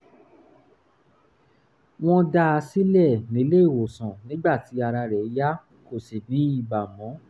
wọ́n dá a sílẹ̀ nílé-ìwòsàn nígbà tí ara rẹ̀ yá kò sì ní ibà mọ́